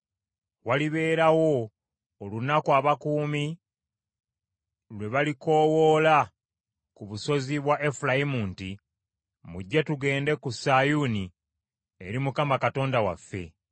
Walibeerawo olunaku abakuumi lwe balikoowoola ku busozi bwa Efulayimu nti, ‘Mujje, tugende ku Sayuuni, eri Mukama Katonda waffe.’ ”